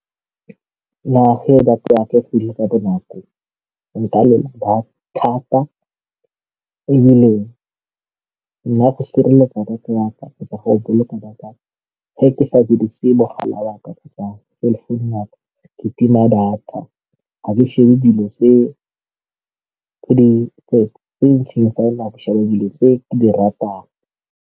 Nna ge data ya ka efedile ka bonako nka leba thata ebile nna go sireletsa data ya ka kgotsa go boloka data fa ke sa dirise mogala wa ka kgotsa cellphone-u ya ka, ke tima data ga ke shebe dilo tse di nako dilo tse ke di ratang.